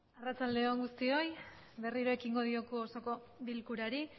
arratsaledon gustioi berriro ekingo diogu osoko bilkurari